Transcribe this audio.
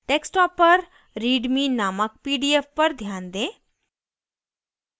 desktop पर readme named pdf पर ध्यान दें